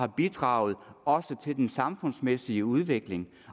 bidrage til den samfundsmæssige udvikling